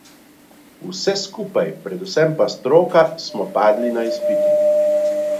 Vsi skupaj, predvsem pa stroka, smo padli na izpitu.